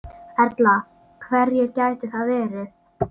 Erla: Hverjir gætu það verið?